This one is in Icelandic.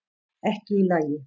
Ekki í lagi